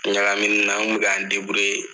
Ɲagaminni na n kun be ka n deburiye